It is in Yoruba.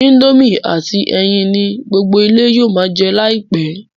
Indomie àti ẹyin ni gbogbo ilé yóò ma jẹ láìpẹ́